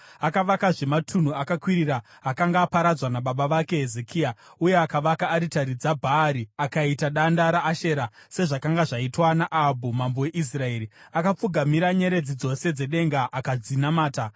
Akavakazve matunhu akakwirira akanga aparadzwa nababa vake Hezekia; uye akavaka aritari dzaBhaari akaita danda raAshera, sezvakanga zvaitwa naAhabhu mambo weIsraeri. Akapfugamira nyeredzi dzose dzedenga akadzinamata.